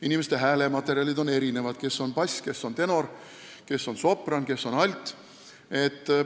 Inimeste häälematerjal on erinev: kes on bass, kes on tenor, kes on sopran ja kes on alt.